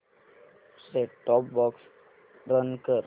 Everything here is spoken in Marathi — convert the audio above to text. सेट टॉप बॉक्स रन कर